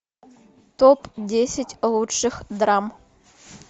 топ десять лучших драм